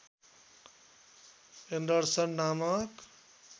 Anderson नामक